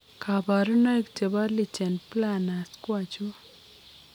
Kabarunaik chebo lichen planus ko achon ?